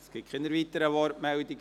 Es gibt keine weiteren Wortmeldungen.